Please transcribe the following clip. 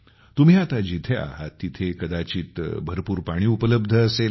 तुम्ही आता जिथे आहात तिथे कदाचित भरपूर पाणी उपलब्ध असेल